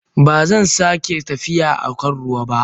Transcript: Ba zan sake tafiya a kan ruwa ba.